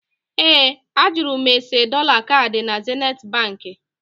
Ee, a jụrụ m ese dọla kaadị na Zenithi Baankị